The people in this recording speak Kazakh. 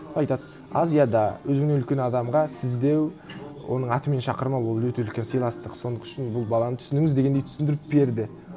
айтады азияда өзіңнен үлкен адамға сіз деу оның атымен шақырмау ол өте үлкен сыйластық сол үшін бұл баланы түсініңіз дегендей түсіндіріп берді